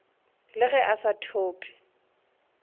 le ge a sa thope